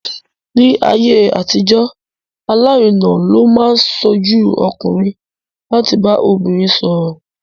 Ní ayé àtijọ́, alárinà ló máa ń ṣojú ọkùnrin láti bá obìnrin sọ̀rọ̀.